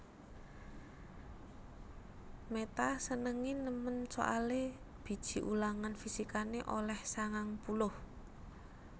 Meta senenge nemen soale biji ulangan fisikane oleh sangang puluh